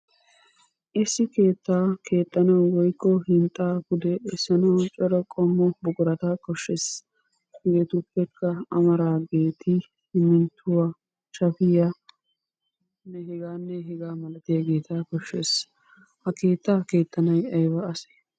Issi keettaa keexxanawu woykko hinxxaa pude essanawu cora qommo buqurata koshshees. Hegeetuppekka amaraageeti simminttuwa, shafiya hegaanne hegaa malatiyageeta koshshees. Ha keettaa keexxanay ayba asee?